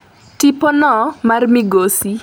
tipono mar migosi